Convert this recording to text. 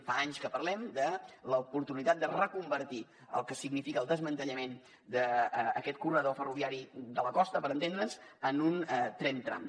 fa anys que parlem de l’oportunitat de reconvertir el que significa el desmantellament d’aquest corredor ferroviari de la costa per entendre’ns en un tren tram